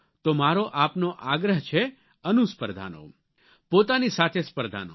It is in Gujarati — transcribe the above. તો મારો આપને આગ્રહ છે અનુસ્પર્ધાનો પોતાની સાથે સ્પર્ધાનો